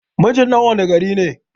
Mijin ɗan wanne gari ne?